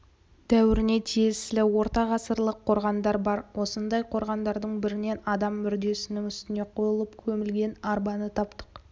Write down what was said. дәуіріне тиесілі ортағасырлық қорғандар бар осындай қорғандардың бірінен адам мүрдесінің үстіне қойылып көмілген арбаны таптық